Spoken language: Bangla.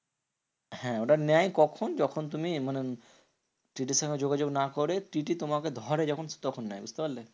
হ্যাঁ ওটা নেয় কখন? যখন তুমি মানে TTE র সঙ্গে যোগাযোগ না করে TTE তোমাকে ধরে যখন তখন নেয়, বুঝতে পারলে?